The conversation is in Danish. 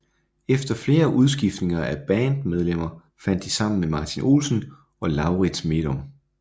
Efter flere udskiftninger af band medlemmer fandt de sammen med Martin Olsen og Laurits Medom